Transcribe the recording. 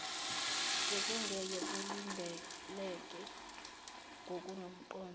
bekungeke kulindeleke ngokunomqondo